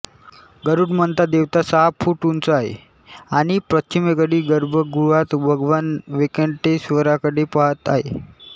गरुडमंथा देवता सहा फूट उंच आहे आणि पश्चिमेकडे गर्भगृहात भगवान वेंकटेश्वराकडे पहात आहे